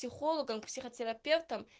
психологом психотерапевтом